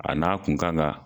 A n'a kun kan ka